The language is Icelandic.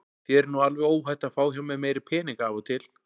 Þér er nú alveg óhætt að fá hjá mér meiri peninga af og til.